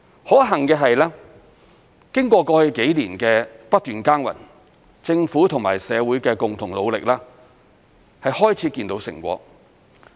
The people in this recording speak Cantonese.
可幸的是，經過過去幾年的不斷耕耘，政府和社會的共同努力已漸見成果。